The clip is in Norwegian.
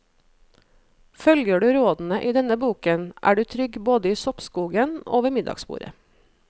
Følger du rådene i denne boken, er du trygg både i soppskogen og ved middagsbordet.